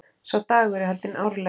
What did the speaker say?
Sá dagur er haldinn árlega.